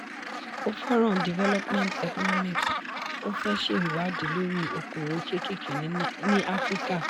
ó fẹ́ràn development economics ó fẹ́ ṣe ìwádìí lórí okòwò kékèké ní africa.